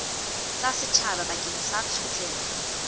tsa setjhaba bakeng sa tshotleho